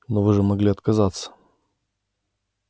но вы же могли отказаться